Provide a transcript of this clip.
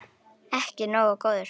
Ekki nógu góður!